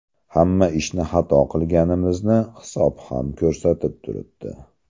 Hamma ishni xato qilganimizni hisob ham ko‘rsatib turibdi.